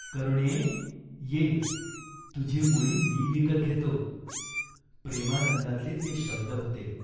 राजा यशोधराने ठायी ठायी असलेली सरकारी कोठारे मोकळी केली. लोकांना धान्य वाटले जाऊ लागले.